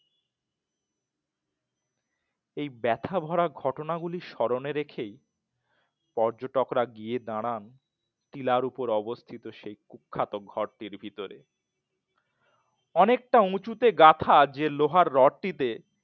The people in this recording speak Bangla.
এই ব্যথা ভরা ঘটনা গুলি স্মরণে রেখেই পর্যটকরা গিয়ে দাঁড়ান টিলার উপর অবস্থিত সেই কুখ্যাত ঘরটির ভিতরে